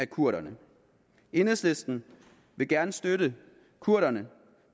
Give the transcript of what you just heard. kurderne enhedslisten vil gerne støtte kurderne